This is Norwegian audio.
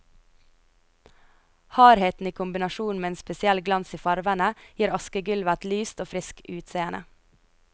Hardheten i kombinasjon med en spesiell glans i farvene, gir askegulvet et lyst og friskt utseende.